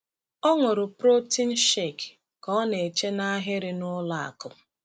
Ọ ṅụrụ protein shake ka ọ na-eche n’ahịrị n’ụlọ akụ.